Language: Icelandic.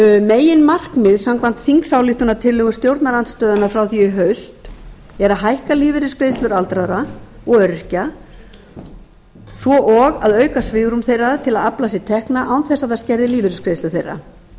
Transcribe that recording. meginmarkmið samkvæmt þingsályktunartillögu stjórnarandstöðunnar frá því í haust er að hækka lífeyrisgreiðslur aldraðra og öryrkja svo og að auka svigrúm þeirra til að afla sér tekna án þess að það skerði lífeyrisgreiðslur þeirra